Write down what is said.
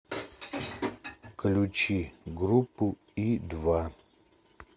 включи группу и два